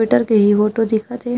Sweater के ह photo दिखत हे।